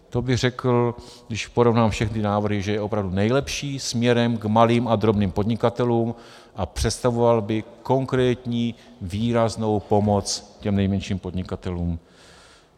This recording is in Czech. To bych řekl, když porovnám všechny návrhy, že je opravdu nejlepší směrem k malým a drobným podnikatelům a představoval by konkrétní výraznou pomoc těm nejmenším podnikatelům.